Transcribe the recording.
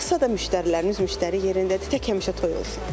Qalxsa da müştəriləriniz müştəri yerindədir, tək həmişə toy olsun.